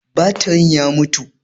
Batirin ya mutu.